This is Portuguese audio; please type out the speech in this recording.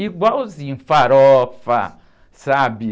Igualzinho, farofa, sabe?